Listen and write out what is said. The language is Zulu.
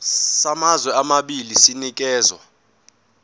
samazwe amabili sinikezwa